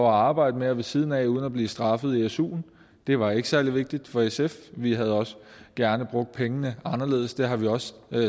arbejde mere ved siden af uden at blive straffet i suen det var ikke særlig vigtigt for sf vi havde også gerne brugt pengene anderledes og det har vi også